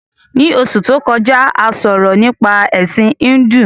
Ní Osù to kọjá, a sọ̀rọ̀ nípa Ẹ̀sin Híndù